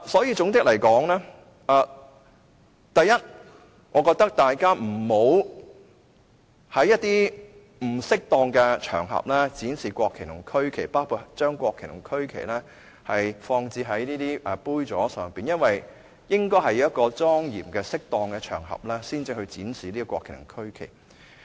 因此，總括而言，我認為大家不要在不適當的場合展示國旗和區旗，包括將國旗和區旗放置在杯座上，因為應該是在莊嚴和適當的場合才展示國旗和區旗。